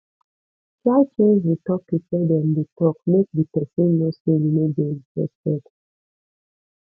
try change di topic when dem de talk am make di persin know say you no de interested